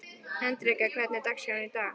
Hendrikka, hvernig er dagskráin í dag?